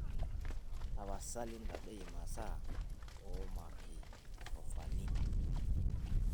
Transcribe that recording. tapasali ntadoi imasaa oomaikitofoni